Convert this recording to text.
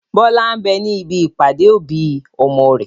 Bọlá ń bẹ ní ibi ìpàdé òbí ọmọ rẹ.